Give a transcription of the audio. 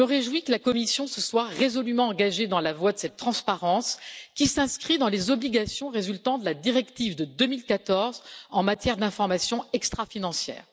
Je me réjouis que la Commission se soit résolument engagée dans la voie de cette transparence qui s'inscrit dans les obligations résultant de la directive de 2014 en matière d'information extra financière.